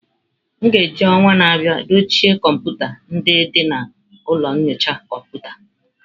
A ga-eji ọnwa na-abịa dochie kọmputa ndị dị na ụlọ nyocha kọmputa.